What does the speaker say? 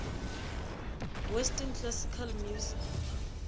western classical music